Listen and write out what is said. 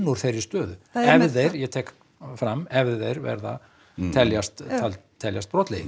úr þeirri stöðu ef þeir ég tek fram ef þeir teljast teljast brotlegir